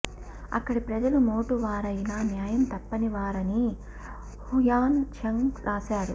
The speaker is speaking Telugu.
అక్కడి ప్రజలు మోటు వారయినా న్యాయం తప్పని వారని హుయాన్ చాంగ్ రాశాడు